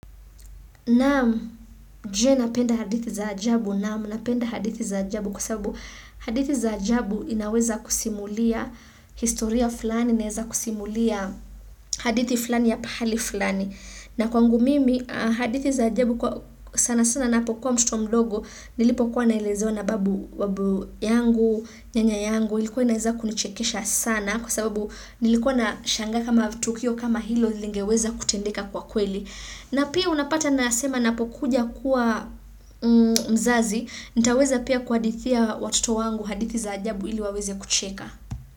Naam, je napenda hadithi za ajabu. Naam napenda hadithi za ajabu kwa sababu hadithi za ajabu inaweza kusimulia historia fulani, inaweza kusimulia hadithi fulani ya pahali fulani. Na kwangu mimi, hadithi za ajabu sana sana napokuwa mtoto mdogo nilipokuwa naelezewa na babu yangu, nyanya yangu, ilikuwa inaweza kunichekesha sana kwa sbsabu nilikuwa nashangaa kama tukio kama hilo lingeweza kutendeka kwa kweli. Na pia unapata nasema napokuja kuwa mzazi, nitaweza pia kuadithia watoto wangu hadithi za ajabu ili waweze kucheka.